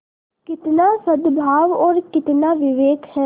कितना सदभाव और कितना विवेक है